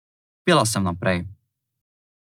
Pela sem naprej.